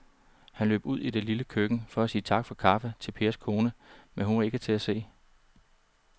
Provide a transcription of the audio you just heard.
Han løb ud i det lille køkken for at sige tak for kaffe til Pers kone, men hun var ikke til at se.